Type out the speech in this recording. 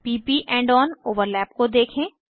p प end on overlap को देखें